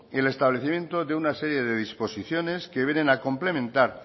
el establecimiento de una serie de disposiciones que vienen a complementar